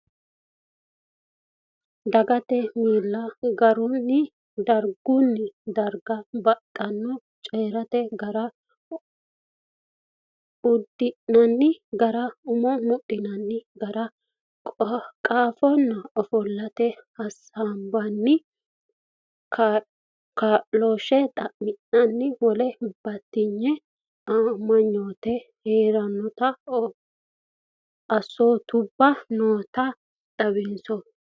Dagate miil- garinni dargunni darga babbaxxirono coyi’rate gara, uddi’nanni gara ,umo mudhinanni gara, qaanfanni, ofollinanni, hasaambanni, kaa’looshshe xa’minanninna wole batinye amanyoote hasidhanno assootubba nooti xawoho.